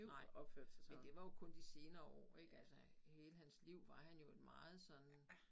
Nej men det var jo kun de senere år ik altså hele hans liv var han et jo meget sådan